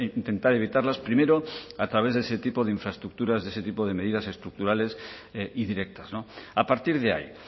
intentar evitarlas primero a través de ese tipo de infraestructuras de ese tipo de medidas estructurales y directas a partir de ahí